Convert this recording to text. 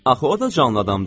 Axı o da canlı adamdır.